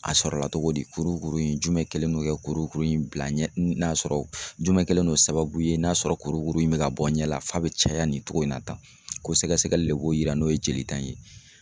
A sɔrɔla togo di? Kurukuru in jumɛn kɛlen don ka kurukuru in bila ɲɛ n'a sɔrɔ jumɛn kɛlen no sababu ye n'a sɔrɔ kurukuru in bɛ ka bɔ n ɲɛ la f'a bɛ caya nin cogo in na tan, ko sɛgɛsɛgɛli le b'o yira n'o ye jelita in ye.